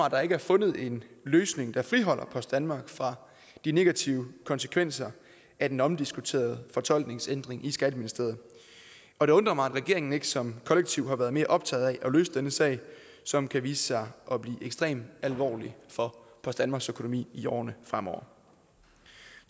at der ikke er fundet en løsning der friholder post danmark fra de negative konsekvenser af den omdiskuterede fortolkningsændring i skatteministeriet og det undrer mig at regeringen ikke som kollektiv har været mere optaget af at løse denne sag som kan vise sig at blive ekstremt alvorlig for post danmarks økonomi i årene fremover